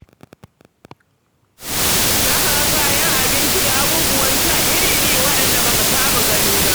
Za ka ga kayan abinci da abubuwan sha iri-iri waɗanda ba ka taɓa gani ba.